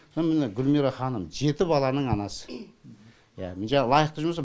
соны міне гулмира ханым жеті баланың анасы иә жаңағы лайықты жұмыс па